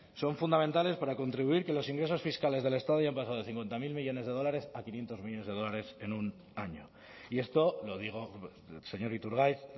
son fundamentales para contribuir que los ingresos fiscales del estado hayan pasado cincuenta mil millónes de dólares a quinientos millónes de dólares en un año y esto lo digo el señor iturgaiz